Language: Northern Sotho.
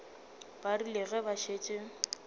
ba rile ge ba šetše